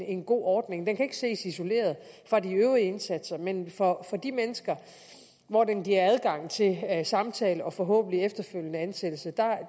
en god ordning den kan ikke ses isoleret fra de øvrige indsatser men for de mennesker hvor den giver adgang til samtale og forhåbentlig efterfølgende ansættelse